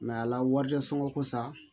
ala warisonkosa